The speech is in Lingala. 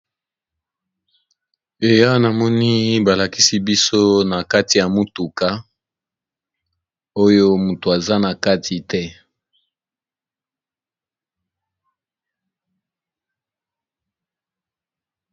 Eh awa namoni ba lakisi biso na kati ya motuka, oyo moto aza na kati te.